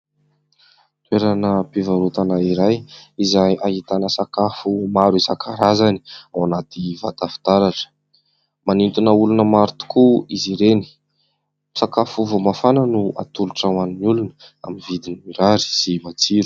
Toeram-pivarotana iray izay ahitana sakafo maro isan-karazany ao anaty vata fitaratra, Manintona olona maro tokoa izy ireny. Sakafo vao mafana no atolotra ho an'ny olona amin'ny vidiny mirary sy matsiro.